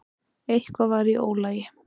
Eitthvað var í ólagi.